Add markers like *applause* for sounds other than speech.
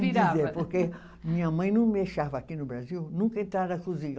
*unintelligible* Porque minha mãe não *unintelligible* aqui no Brasil, nunca entrar na cozinha.